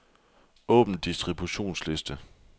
Åbn distributionsliste.